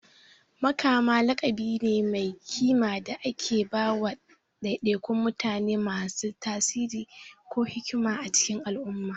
Makama laƙabi ne mai kima da ake ba wa ɗaiɗaikun mutane masu tasiri ko hikima a cikin al'umma.